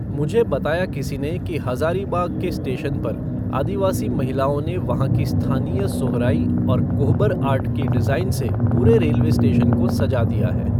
मुझे बताया किसी ने कि हज़ारीबाग़ के स्टेशन पर आदिवासी महिलाओं ने वहाँ की स्थानीय सोहराई और कोहबर आर्ट की डिज़ाइन से पूरे रेलवे स्टेशन को सज़ा दिया है।